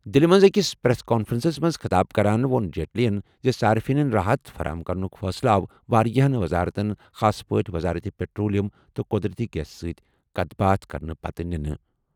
دِلہِ منٛز أکِس پریس کانفرنسس منٛز خطاب کران ووٚن جیٹلیَن زِ صارفینَن راحت فراہم کرنُک فٲصلہٕ آو واریٛاہَن وزارتن خاص پٲٹھۍ وزارت پٹرولیم تہٕ قدرتی گیس سۭتۍ کَتھ باتھ کرنہٕ پتہٕ نِنہٕ۔